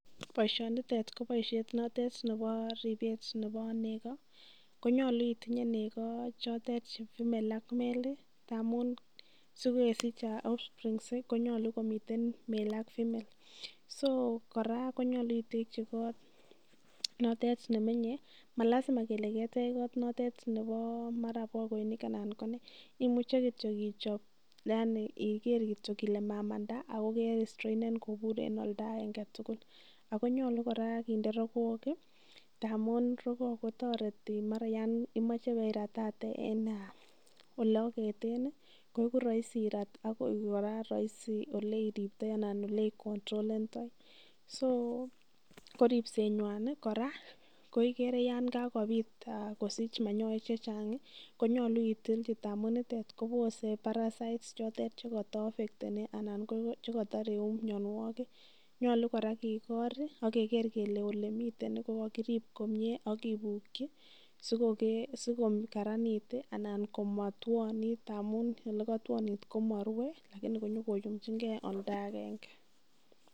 Boisionitet, ko boisiet notet nebo ribet nebo nego, konyolu iitinye nego choton female ak male ndamun sikesich offsprings konyolu koiten male ak female . So kora konyolu iteki kot nemenye, malazima kele ketech kot notet nebo bokoinin anan ko nee? imuch kiittyo ichob, yani iger kityo kole mamanda, ago kerestrainen kobur en oldo agenge tugul, ago nyolu kora kinde rogook tamun rogook kotoreti mara yon imoche ibeiratate en ole ageten koigu rohisi irat ak koik kora rohiisi ole iriptoi anan ole icontrolendoi. So ko ripsenywan kora ko igere yon kabit kosich manyoek che chang konyolu itilchi ngamun nitet kobose parasites chotet che kotoaffecteni anan che koto iregu mianwogik nyolu kora kiigor ak keger kele ole miten ko ko kirib komie ak kibuki si ko karanit anan komotwonit ngamun ole kotwonit komo rue lakini konyokoyumchinge oldo agenge.